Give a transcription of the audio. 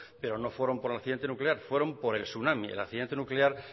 pero no fueron por el accidente nuclear fueron por el tsunami el accidente nuclear